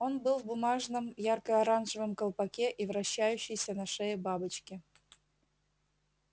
он был в бумажном ярко-оранжевом колпаке и вращающейся на шее бабочке